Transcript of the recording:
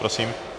Prosím.